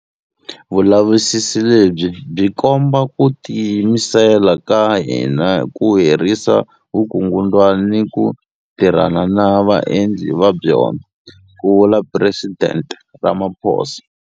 Vulavisisi lebyi byi komba ku tiyimisela ka hina ku herisa vukungundzwana ni ku tirhana na vaendli va byona, ku vula Presidente Ramaphosa.